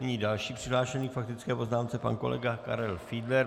Nyní další přihlášený k faktické poznámce, pan kolega Karel Fiedler.